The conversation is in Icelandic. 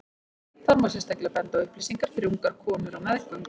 þar má sérstaklega benda á upplýsingar fyrir ungar konur á meðgöngu